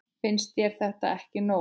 Finnst þér þetta ekki nóg?